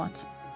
Məlumat.